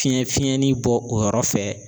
Fiɲɛ fiɲɛni bɔ o yɔrɔ fɛ